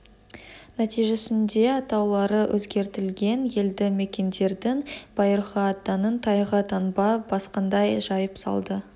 нәтижесінде атаулары өзгертілген елді мекендердің байырғы аттарын тайға таңба басқандай жайып салды